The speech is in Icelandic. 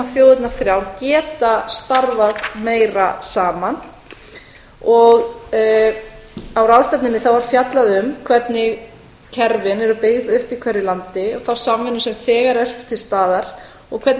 þjóðirnar þrjár geta starfað meira saman á ráðstefnunni var fjallað um hvernig kerfin eru byggð upp í hverju landi og þá samvinnu sem þegar er til staðar og hvernig